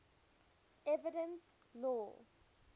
evidence law